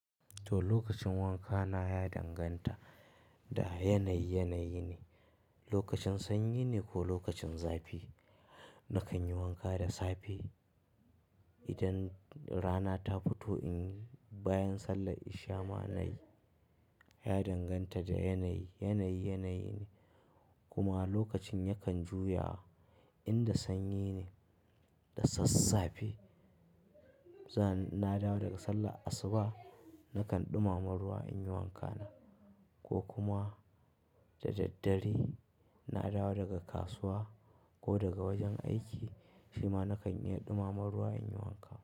To, lokacin wanka na ya danganta da yanayi, yanayi ne. Lokacin sanyi ne ko lokacin zafi, na kan yi wanka da safe idan rana ta fito bayan sallah isha'i ma na yi. Ya danganta da yanayi, yanayi, yanayi ne. Kuma lokacin yakan juyawa, inda sanyi ne da sassafe, na dawo daga sallah asuba na kan ɗumama ruwa in yi wanka na. Ko kuma da daddare na dawo daga kasuwa ko daga wajen aiki, shi ma na kan iya ɗumama ruwa in yi wanka.